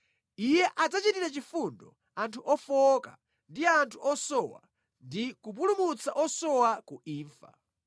Iye adzachitira chifundo anthu ofowoka ndi anthu osowa ndi kupulumutsa osowa ku imfa.